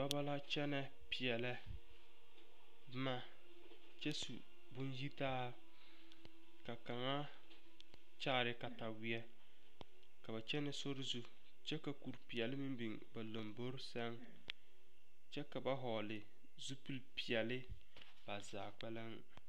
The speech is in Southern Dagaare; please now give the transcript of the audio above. Dɔbɔ la kyɛnɛ peɛlɛ boma kyɛ su bonyitaa ka kaŋa kyaare kataweɛ ka ba kyɛnɛ sori zu kyɛ ka kuripeɛle meŋ biŋ ba lombori sɛŋ kyɛ ka ba vɔgle zupili peɛle ba zaa kpɛlem.